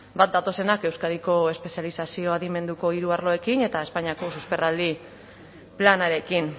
bat datozenak euskadiko espezializazio adimenduneko hiru arloekin eta espainiako susperraldi planarekin